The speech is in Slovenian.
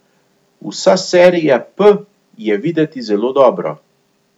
Vsa serija P je videti zelo dobro.